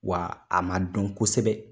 Wa a man dɔn kosɛbɛ.